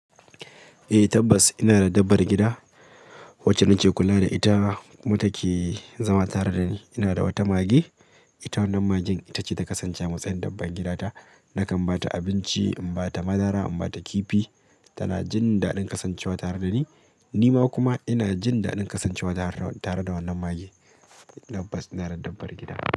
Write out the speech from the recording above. Eh tabbas ina da ɗabbar gida wacce nake kula da ita. Kuma take zama tare dani. Ina da wata mage, ita wannan magen ita ce ta kasance a matsayin ɗabban gidata. Nakan ba ta abinci, in ba ta madara, in ba ta kifi. Tana jin daɗin kasancewa tare da ni, nima kuma ina jindaɗin kasancewa tare da wannan mage. Tabbas ina da dabbar gida.